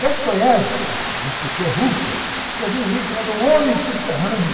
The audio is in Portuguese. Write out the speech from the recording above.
Dostoiévski, um escritor russo, escreveu um livro chamado Homem Subterrâneo.